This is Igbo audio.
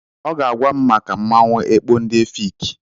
Ọ ga-agwa m maka mmanwụ ekpo ndị Efik.